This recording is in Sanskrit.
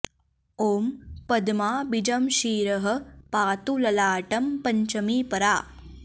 ॐ पद्मा बीजं शिरः पातु ललाटं पञ्चमी परा